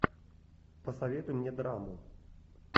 посоветуй мне драму